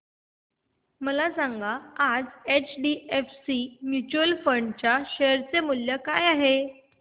मला सांगा आज एचडीएफसी म्यूचुअल फंड च्या शेअर चे मूल्य काय आहे